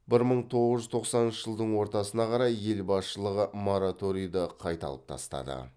бір мың тоғыз жүз тоқсаныншы жылдың ортасына қарай ел басшылығы мораторийді қайта алып тастады